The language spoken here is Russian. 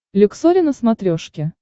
люксори на смотрешке